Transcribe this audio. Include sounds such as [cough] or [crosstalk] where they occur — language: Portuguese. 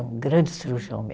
Um grande cirurgião [unintelligible]